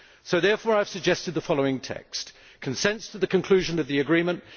Therefore I have suggested the following text Consents to the conclusion of the agreement